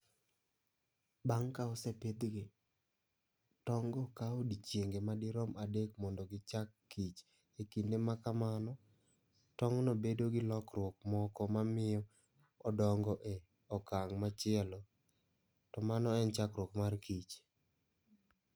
Bang' ka osepidhgi, tong'go kawo odiechienge madirom 3 mondo gichakkich E kinde ma kamano, tong'no bedo gi lokruok moko ma miyo odongo e okang' machielo, to mano en chakruok markich